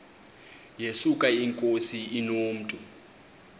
yesuka inkosi inomntu